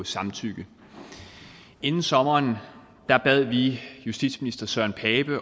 samtykke inden sommeren bad vi justitsministeren